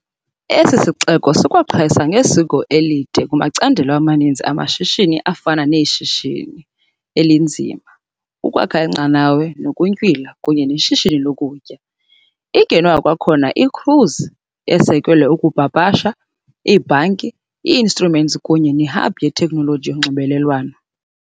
Esi sixeko sikwaqhayisa ngesiko elide kumacandelo amaninzi amashishini afana neshishini elinzima, ukwakha iinqanawa, ukuntywila kunye neshishini lokutya . I-Genoa kwakhona i -cruise esekelwe, ukupapasha, ibhanki - i- inshurensi kunye ne-hub yeteknoloji yonxibelelwano.